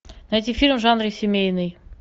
найти фильм в жанре семейный